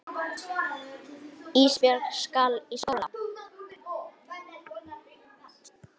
Ísbjörg skal í skóla.